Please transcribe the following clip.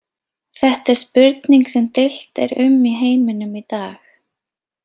Þetta er spurning sem deilt er um í heiminum í dag.